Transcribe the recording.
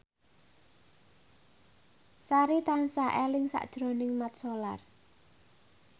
Sari tansah eling sakjroning Mat Solar